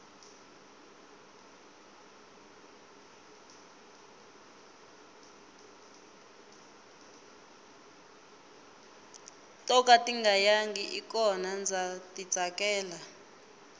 to ka tinga yangi i kona ndza ti tsakela